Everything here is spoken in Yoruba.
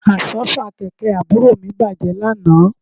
Àsọ́fà kẹ̀kẹ́ àbúrò mi bàjẹ́ lánàá